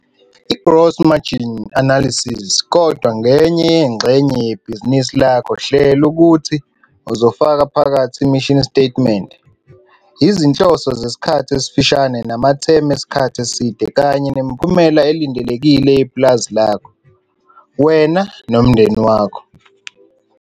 I-gross margin analysis kodwa ngenye yengxenye yebhizinisi lakho hlela ukuthi uzofaka phakathi i-mission statement, izinhloso zesikhathi esifushane namathemu esikhathi eside kanye nemiphumela elindelekile yepulazi lakho, wena nomndeni wakho.